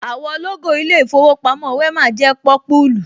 Àwọ̀ lógò ilé ìfowópamọ́ Wema jẹ́ pọ́púlù